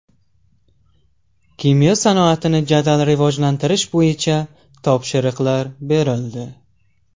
Kimyo sanoatini jadal rivojlantirish bo‘yicha topshiriqlar berildi.